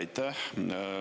Aitäh!